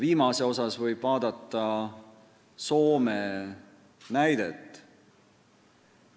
Viimase puhul võib vaadata Soome näidet.